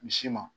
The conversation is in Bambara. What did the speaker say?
Misi ma